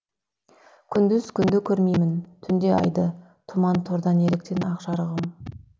күндіз күнді көрмеймін түнде айды тұман торда неліктен ақ жарығым